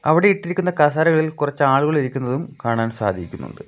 അവിടെ ഇട്ടിരിക്കുന്ന കസേരകളിൽ കുറച്ച് ആളുകൾ ഇരിക്കുന്നതും കാണാൻ സാധിക്കുന്നുണ്ട്.